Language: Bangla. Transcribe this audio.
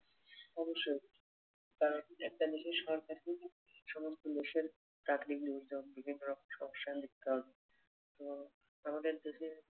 অবশ্যই কারন একটা দেশের সরকারকেই সমস্ত দেশের প্রাকৃতিক দুর্যোগ বিভিন্ন রকম সমস্যায় লিপ্ত আমাদের দেশের